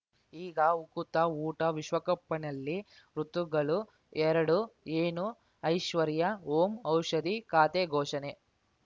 ಈಗ ಉಕುತ ಊಟ ವಿಶ್ವಕಪ್‌ನಲ್ಲಿ ಋತುಗಳು ಎರಡು ಏನು ಐಶ್ವರ್ಯಾ ಓಂ ಔಷಧಿ ಖಾತೆ ಘೋಷಣೆ